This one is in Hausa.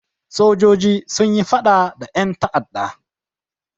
Sojoji sun yi faɗa da ƴan ta'adda.